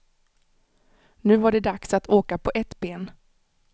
Nu var det dags att åka på ett ben.